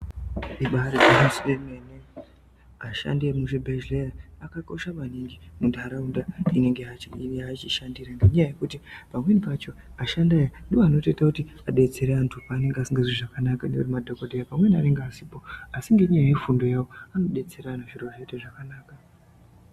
Ibari gwinyiso yemene ashandi emuzvibhehleya akakosha maningi muntaraunda yanenge echishandira ngenyaya yekuti pamweni pacho ashandi ayaa ndiwo anoita kuti adetsere antu anenge asingazwi zvakanaka madhokodheya pamwe anenge asipo asi ngefundo yavo anodetsera antu zvoita zvakaanaka.